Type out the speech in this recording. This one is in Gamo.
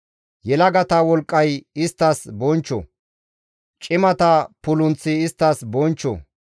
Yelagata wolqqay isttas bonchcho; cimata pulunththi isttas bonchcho.